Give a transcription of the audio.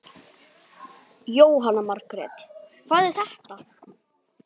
Jóhanna Margrét: Hvað er þetta?